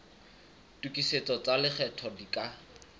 tokisetso tsa lekgetho di ka